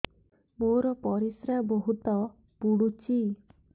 ମୋର ପରିସ୍ରା ବହୁତ ପୁଡୁଚି